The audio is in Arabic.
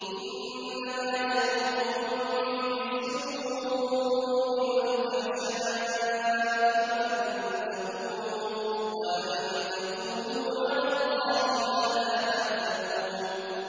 إِنَّمَا يَأْمُرُكُم بِالسُّوءِ وَالْفَحْشَاءِ وَأَن تَقُولُوا عَلَى اللَّهِ مَا لَا تَعْلَمُونَ